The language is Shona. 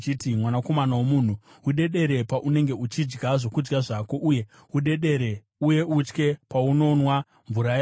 “Mwanakomana womunhu, udedere paunenge uchidya zvokudya zvako, uye udedere uye utye paunonwa mvura yako.